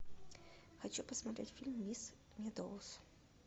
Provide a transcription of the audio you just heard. хочу посмотреть фильм мисс медоуз